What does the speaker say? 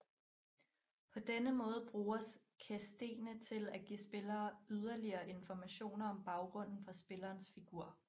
På denne måde bruges questene til at give spillere yderligere informationer om baggrunden for spillerens figur